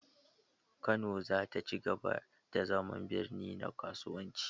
Kano za ta ci gaba da zama birni na kasuwanci.